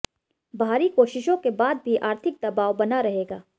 बाहरी कोशिशों के बाद भी आर्थिक दबाव बना रहेगा